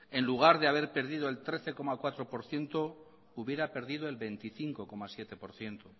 en lugar de haber perdido el trece coma cuatro por ciento hubiera perdido el veinticinco coma siete por ciento